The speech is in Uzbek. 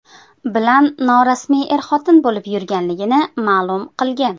bilan norasmiy er-xotin bo‘lib yurganligini ma’lum qilgan.